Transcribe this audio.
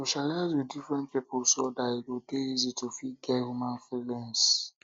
socialize with different pipo um so dat e e go dey easy to fit get human um feelings